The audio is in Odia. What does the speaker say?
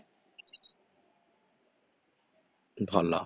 ଭଲ